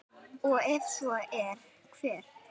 og ef svo er, hver?